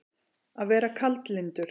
Að vera kaldlyndur